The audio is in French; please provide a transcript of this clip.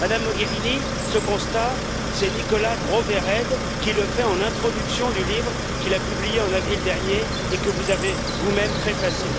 Madame Mogherini, ce constat, c'est Nicolas Gros Verheyde qui le fait en introduction du livre qu'il a publié en avril dernier et que vous avez vous même préfacé.